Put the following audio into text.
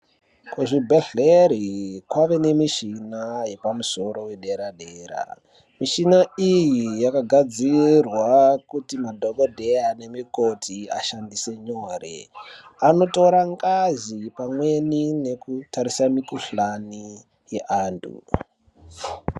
Kuzvibhedhlere kwave nemishina, yepamusoro, yedera-dera. Mishina iyi yakagadzirwa kuti, madhokodheya nemikoti ashandise nyore. Anotora ngazi pamweni ne kutarisa mikhuhlani yeanthu.